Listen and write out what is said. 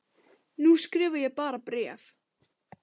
Nú skrifa ég bara bréf!